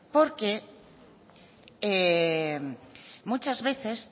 porque muchas veces